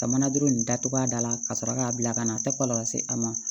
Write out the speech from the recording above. Ka mana duuru nin datugu a da la ka sɔrɔ k'a bila ka na a tɛ kɔlɔlɔ se a ma